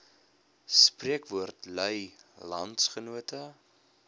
spreekwoord lui landsgenote